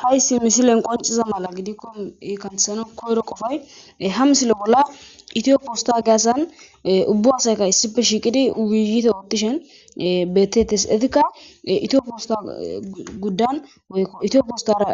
Hayssi misilen qonciza mala gidikko iikantesana koyro qofay ha msile bolla itiyo puosta geasan ubbu hasayka issipe shiiqidi wiiyite oottishen beettettes etikka itiyo puosta guddan woykko itiyopistara